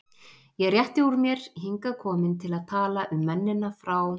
Ég rétti úr mér, hingað komin til að tala um mennina frá